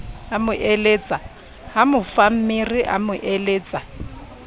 ha mofammere a mo eletsa